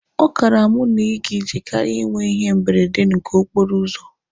Ọ kaara mụ na iga ije karịa ịnwe ihe mberede nke okporo ụzọ.